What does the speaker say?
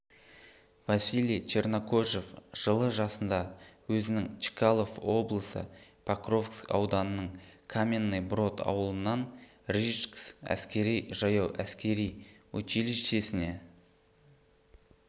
василий чернокожев жылы жасында өзінің чкалов обылысы покровск ауданының каменный брод ауылынан рижск әскери-жаяу әскер училищесіне